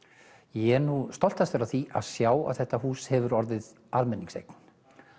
ég er stoltastur af því að sjá að þetta hús hefur orðið almenningseign